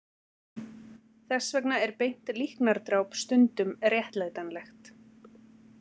Þess vegna er beint líknardráp stundum réttlætanlegt.